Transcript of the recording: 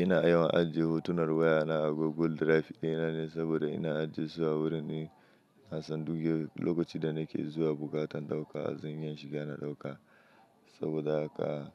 Ina yawan ajiye hotunan wayana a Google Drive ɗina ne, saboda ina ajiye su a wurin ina son duke lokacin da nake zuwa bukatan ɗauka, zan iya shiga na ɗauka. Saboda haka,